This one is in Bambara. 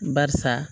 Barisa